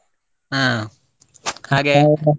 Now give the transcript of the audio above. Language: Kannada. ಹ .